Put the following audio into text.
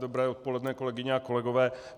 Dobré odpoledne kolegyně a kolegové.